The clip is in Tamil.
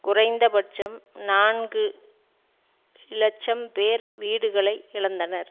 குறைந்தபட்சம் நான்கு இலட்சம் பேர் வீடுகளை இழந்தனர்